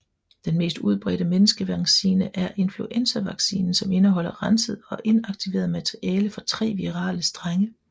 Den mest udbredte menneskevaccine er influenzavaccinen som indeholder renset og inaktiveret materiale fra tre virale strenge